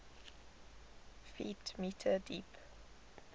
ft m deep